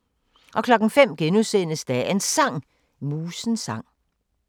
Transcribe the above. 05:00: Dagens Sang: Musens sang *